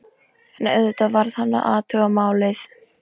En auðvitað varð hann að athuga málið.